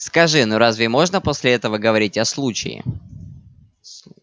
скажи ну разве можно после этого говорить о случае